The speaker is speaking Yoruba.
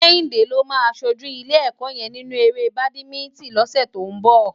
Kehinde ló má ṣójú ilé èkò yèn ninú éré bádimintin lòsè tó n bò